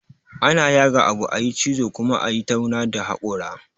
Ana yaga abu, a yi cizo, kuma a yi tauna da hakwara